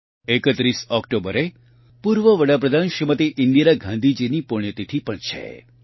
૩૧ ઓકટોબરે પૂર્વ વડાપ્રધાન શ્રીમતી ઇન્દિરા ગાંધીજીની પુણ્યતિથિ પણ છે